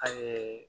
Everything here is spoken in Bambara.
A ye